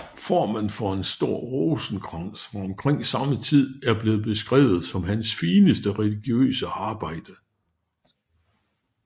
Formen for en stor rosenkrans fra omkring samme tid er blevet beskrevet som hans fineste religiøse arbejde